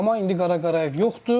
Amma indi Qara Qarayev yoxdur.